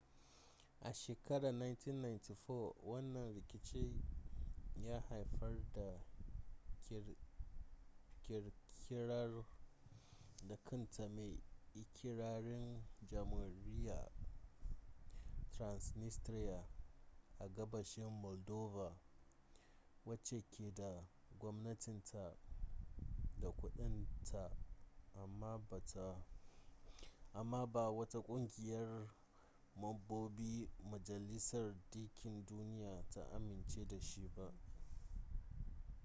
a shekarar 1994 wannan rikici ya haifar da kirkirar da kanta mai ikirarin jamhuriyyar transnistria a gabashin moldova wacce ke da gwamnatinta da kudin ta amma ba wata kungiyar mambobin majalisar dinkin duniya ta amince da shi ba